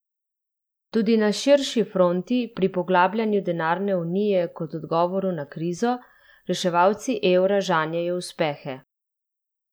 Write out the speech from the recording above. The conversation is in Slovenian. Tudi na širši fronti, pri poglabljanju denarne unije kot odgovoru na krizo, reševalci evra žanjejo uspehe.